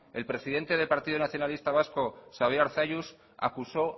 el presidente del partido nacionalista vasco xabier arzalluz acusó